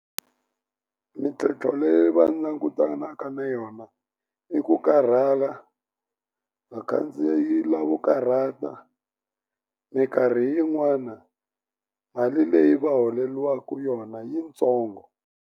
Mintlhontlho leyi va langutanaka na yona i ku karhala vakhandziyi lavo karhata minkarhi yin'wana mali leyi va holeliwaku yona yitsongo.